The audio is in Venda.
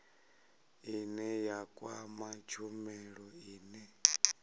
ine ya kwama tshumelo ine